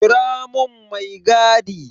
Kira mun mai gadi!